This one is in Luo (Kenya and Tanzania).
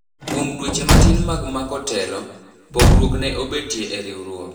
Kuom dweche matin mag mako telo, pogruok ne obetie e riwruok.